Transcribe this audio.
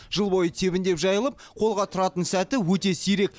жыл бойы тебіндеп жайылып қолға тұратын сәті өте сирек